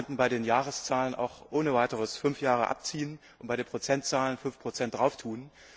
Wir könnten bei den Jahreszahlen auch ohne weiteres fünf Jahre abziehen und bei den Prozentzahlen fünf Prozent drauflegen.